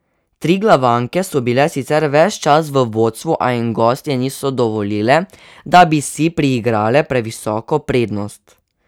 Triglavanke so bile sicer ves čas v vodstvu, a jim gostje niso dovolile, da bi si priigrale previsoko prednost.